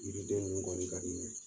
Yiri den nunu kɔɔni ka di n ɲɛ